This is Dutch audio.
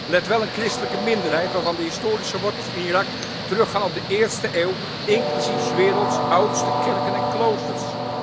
Let wel, een christelijke minderheid waarvan de historische wortels in Irak teruggaan tot de eerste eeuw, inclusief 's werelds oudste kerken en kloosters.